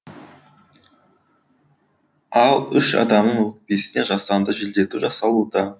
ал үш адамның өкпесіне жасанды желдету жасалуда